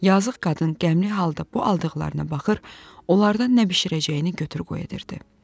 Yazıq qadın qəmli halda bu aldıqlarına baxır, onlardan nə bişirəcəyini götür qoy edirdi.